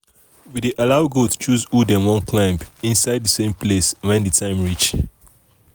we dey allow goat choose who dem wan climb inside same place when the time reach.